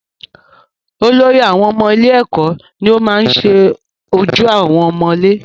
Olórí àwọn ọmọ ilé èkó ni o maá ṣe ojú àwọn ọmọ ilé